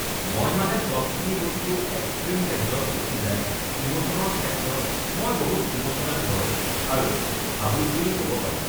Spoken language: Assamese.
মই মানে চবখিনি বস্তু এক্সট্ৰিম লেভেলত গুচি যায়, ইম'চনৰ ক্ষেত্ৰত, মই বহুত ইম'চনেল হয় আৰু ভাবুক বুলি ক'ব পাৰি